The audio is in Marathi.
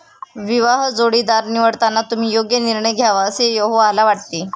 विवाह जोडीदार निवडताना तुम्ही योग्य निर्णय घ्यावा असे यहोवाला वाटते.